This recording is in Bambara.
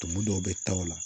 Tumu dɔw bɛ taa o la